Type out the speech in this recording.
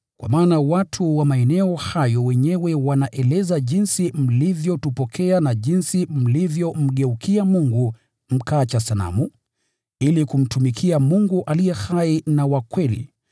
Kwa maana watu wa maeneo hayo wenyewe wanaeleza jinsi mlivyotupokea na jinsi mlivyomgeukia Mungu mkaacha sanamu, ili kumtumikia Mungu aliye hai na wa kweli